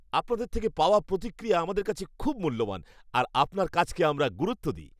আপনাদের থেকে পাওয়া প্রতিক্রিয়া আমাদের কাছে খুব মূল্যবান আর আপনার কাজকে আমরা গুরুত্ব দিই।